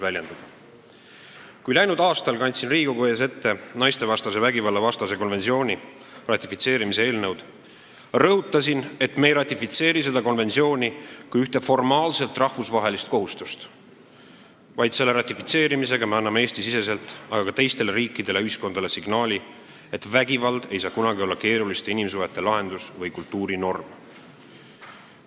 Kui ma läinud aastal tutvustasin Riigikogu ees naistevastase vägivalla ennetamise ja tõkestamise konventsiooni ratifitseerimise seaduse eelnõu, ütlesin ma: "Ma tahan rõhutada, et me ei ratifitseeri seda konventsiooni kui ühte formaalset rahvusvahelist kohustust, vaid selle ratifitseerimisega me anname Eesti-siseselt, aga ka teistele riikidele ja ühiskondadele signaali, et vägivald ei saa kunagi olla keeruliste inimsuhete lahendus või kultuurinorm.